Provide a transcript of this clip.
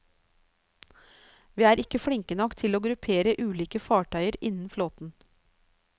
Vi er ikke flinke nok til å gruppere ulike fartøyer innen flåten.